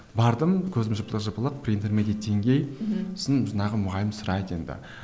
бардым көзім жыпылық жыпылық сосын жаңағы мұғалім сұрайды енді